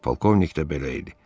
Polkovnik də belə idi.